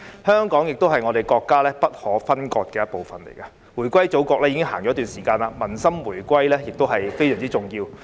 香港是國家不可分割的一部分，回歸祖國已經一段時間，民心回歸也非常重要。